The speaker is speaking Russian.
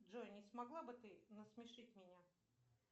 джой не смогла бы ты насмешить меня